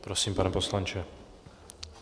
Prosím, pane poslanče.